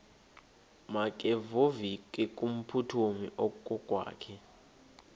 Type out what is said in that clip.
makevovike kumphuthumi okokwakhe